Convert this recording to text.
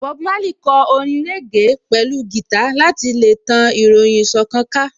Bob Marley kò orin régè pẹ̀lú gìtá láti ṣe tan ìròyìn ìṣọ̀kan ká